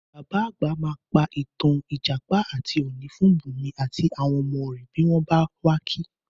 Bàbá àgbà máa pa ìtàn Ìjàpá àti Ọ̀ọ̀nì fún Bùnmi àti àwọn ọmọ rẹ̀ bí wọ́n bá wà ki